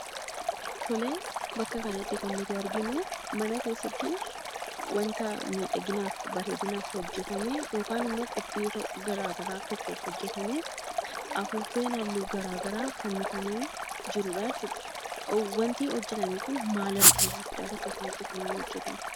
Tolee, bakka kanatti kan nuti arginuu mana keessattii wanta miidhaginaaf, bareedinaaf hojjatame yookaan ammoo qophii garagaraa tokkoof hojjatamee afuuffeen halluu garagaraa fannifamee jirudhaa jechuudha. Wantii hojjatame kun maal agarsiisuufidha? Bakka kanatti kan hojjatame?